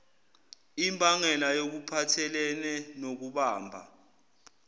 imbangela yokuphathelene nokubamba